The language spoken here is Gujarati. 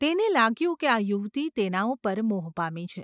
તેને લાગ્યું કે આ યુવતી તેના ઉપર મોહ પામી છે.